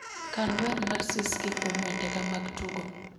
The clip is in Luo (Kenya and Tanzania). Kan wer mar siskii kuom wendena mag tugo